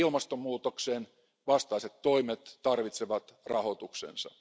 Ilmastonmuutoksen vastaiset toimet tarvitsevat rahoituksensa.